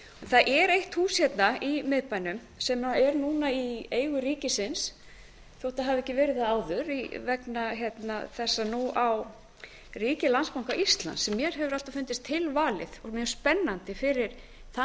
það er eitt hús hérna í miðbænum sem er núna í eigu ríkisins þótt það hafi ekki verið það áður vegna þess að nú á ríkið landsbanka íslands sem mér hefuraalltaf fundist tilvalið og mjög spennandi fyrir þann